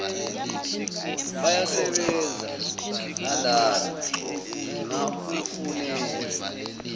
bayasebenza nalana ngingakufunela